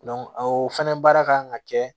o fɛnɛ baara kan ka kɛ